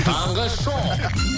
таңғы шоу